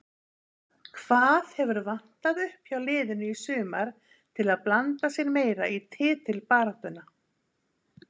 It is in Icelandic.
Hvað hefur vantað upp hjá liðinu í sumar til að blanda sér meira í titilbaráttuna?